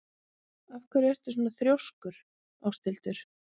Af hverju ertu svona þrjóskur, Áshildur?